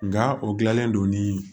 Nka o gilanlen don ni